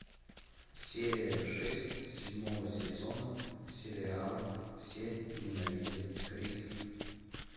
серия шесть седьмого сезона сериала все ненавидят криса